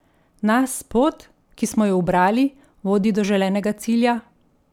Nas pot, ki smo jo ubrali, vodi do želenega cilja?